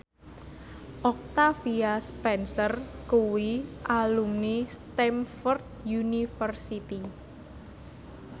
Octavia Spencer kuwi alumni Stamford University